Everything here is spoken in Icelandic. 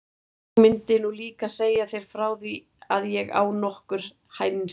Ég gleymdi nú líka að segja þér frá því að ég á nokkur hænsni.